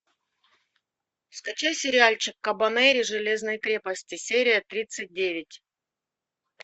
скачай сериальчик кабанери железной крепости серия тридцать девять